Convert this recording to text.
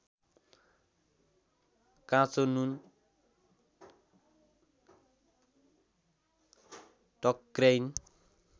काँचो नुन टक्र्याइन्